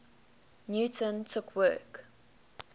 newton took work